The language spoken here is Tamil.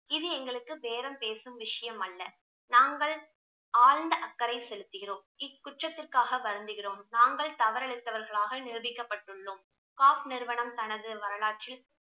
இது எங்களுக்கு பேரம் பேசும் விஷயம் அல்ல நாங்கள் ஆழ்ந்த அக்கறை செலுத்துகிறோம் இக்குற்றத்திற்காக வருந்துகிறோம் நாங்கள் தவறிழைத்தவர்களாக நிரூபிக்கப்பட்டுள்ளோம் நிறுவனம் தனது வரலாற்றில்